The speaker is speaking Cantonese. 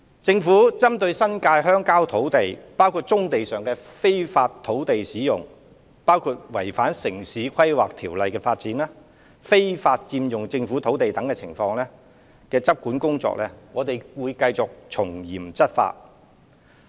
政府針對新界鄉郊土地，包括棕地上的非法土地使用、違反《城市規劃條例》的發展、非法佔用政府土地等情況的執管工作，會繼續從嚴處理。